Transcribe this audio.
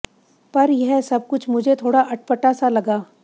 पर यह सब कुछ मुझे थोड़ा अटपटा सा लगा